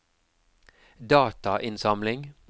datainnsamling